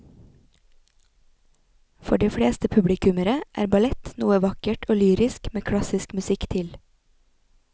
For de fleste publikummere er ballett noe vakkert og lyrisk med klassisk musikk til.